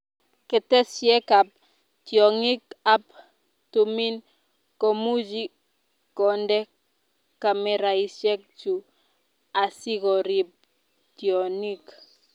Keteshiek ab tiong'ik ab tumin komuchi konde kameraishek chu asikorip tion'ik